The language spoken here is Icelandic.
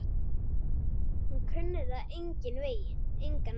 Hún kunni það engan veginn.